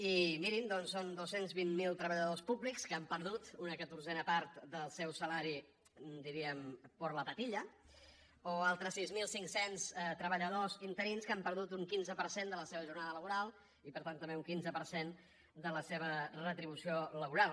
i mirin doncs són dos cents i vint miler treballadors públics que han perdut una catorzena part del seu salari diríem por la patilla o altres sis mil cinc cents treballadors interins que han perdut un quinze per cent de la seva jornada laboral i per tant també un quinze per cent de la seva retribució laboral